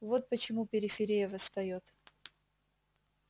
вот почему периферия восстаёт